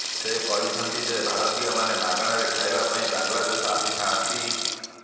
ସେ କହିଛନ୍ତି ଯେ ଭାରତୀୟମାନେ ମାଗଣାରେ ଖାଇବା ପାଇଁ ବାଂଲାଦେଶ ଆସିଥାଆନ୍ତି